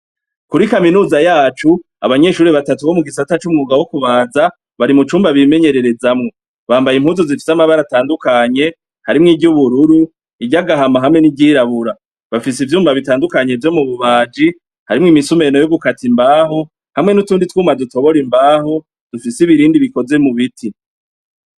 Kuri kaminuza yacu abanyeshuri batatu bo mu gisatsa c'umwuga wo kubaza bari mu cumba bimenyererezamwo bambaye impuzu zifise amabara atandukanye harimwo iryubururu iryo agahama hamwe n'iryirabura bafise ivyuma bitandukanye vyo mu bubaji harimwo imisumeno y'ugukata imbaho hamwe n'utundi twuma dutobora imbaho dufise ibirindi vyo mu biti.